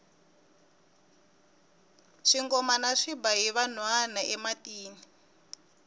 swingomana swi ba hi vanhwana ematini